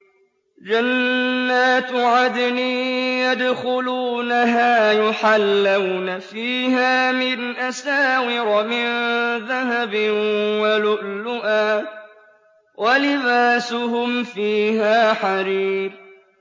جَنَّاتُ عَدْنٍ يَدْخُلُونَهَا يُحَلَّوْنَ فِيهَا مِنْ أَسَاوِرَ مِن ذَهَبٍ وَلُؤْلُؤًا ۖ وَلِبَاسُهُمْ فِيهَا حَرِيرٌ